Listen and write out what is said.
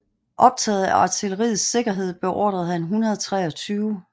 Optaget af artilleriets sikkerhed beordrede han 123